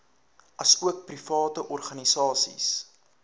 asook private organisasies